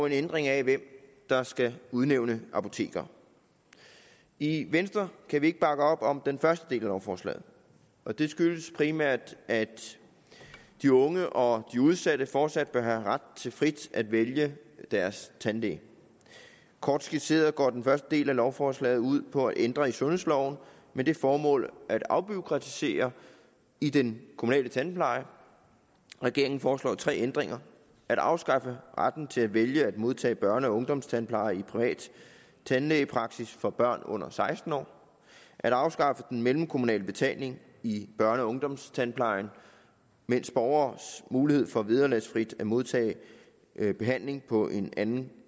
en ændring af hvem der skal udnævne apotekere i venstre kan vi ikke bakke op om den første del af lovforslaget og det skyldes primært at de unge og de udsatte fortsat bør have ret til frit at vælge deres tandlæge kort skitseret går den første del af lovforslaget ud på at ændre i sundhedsloven med det formål at afbureaukratisere i den kommunale tandpleje regeringen foreslår tre ændringer at afskaffe retten til at vælge at modtage børne og ungdomstandpleje i privat tandlægepraksis for børn under seksten år at afskaffe den mellemkommunale betaling i børne og ungdomstandplejen mens borgeres mulighed for vederlagsfrit at modtage behandling på en anden